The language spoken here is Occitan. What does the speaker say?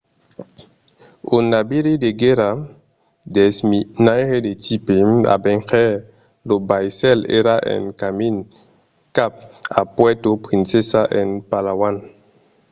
un naviri de guèrra desminaire de tipe avenger lo vaissèl èra en camin cap a puerto princesa en palawan